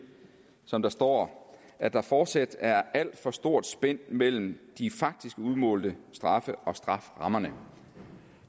som der står at der fortsat er et alt for stort spænd mellem de faktisk udmålte straffe og strafferammerne